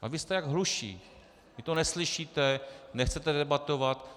A vy jste jako hluší, vy to neslyšíte, nechcete debatovat.